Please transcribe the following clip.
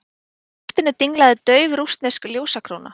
Í loftinu dinglaði dauf rússnesk ljósakróna.